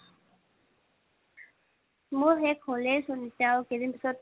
মোৰ শেষ হ'লেই চোন এতিয়া আৰু কেইদিন পাছত